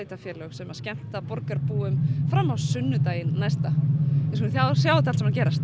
sem skemmta borgarbúum fram á sunnudaginn næsta við skulum sjá þetta allt saman gerast